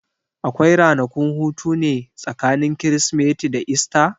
Akwai ranakun hutune tsakanin Kirsimeti da Esta?